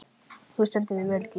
Þú stendur þig vel, Gísli!